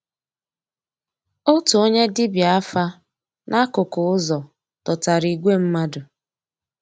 Ótú ónyé dìbíá àfà n'àkụ́kụ́ ụ́zọ̀ dòtárà ígwè mmàdú.